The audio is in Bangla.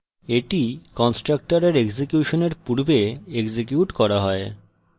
এটি কন্সট্রকটরের এক্সিকিউশনের পূর্বে এক্সিকিউট করা হয়